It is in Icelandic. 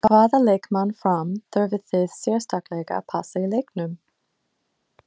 Hvaða leikmann Fram þurfið þið sérstaklega að passa í leiknum?